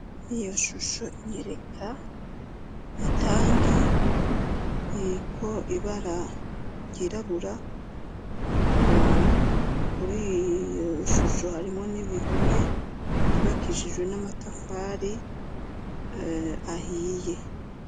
Iyo shusho inyereka itangi iriko ibara ryirabura kuriyo shusho harimwo n'ibihome vyubakishijwe n'amatafari ahiye.